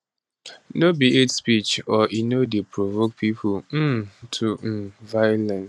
no be hate speech or e no dey provoke pipo um to um violence